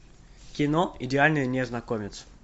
кино идеальный незнакомец